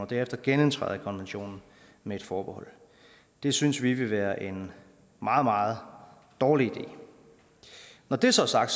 derefter genindtræder i konventionen med et forbehold det synes vi vil være en meget meget dårlig idé når det så er sagt